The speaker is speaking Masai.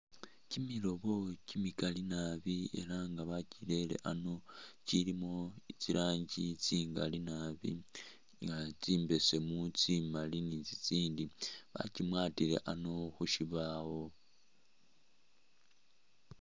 Kyimilobo kyili kyimikali naabi elanga elanga bakyirele ano kyilimo tsirangi tsingali naabi nga tsimbesemu, tsimali ni tsitsindi bakiwatile ano khukyibawo